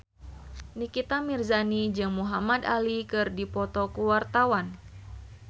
Nikita Mirzani jeung Muhamad Ali keur dipoto ku wartawan